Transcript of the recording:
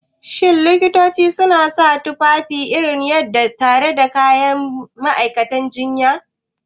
Shin Likitoci suna sa tufafi iri ɗaya tare da ma'aikatan jinya?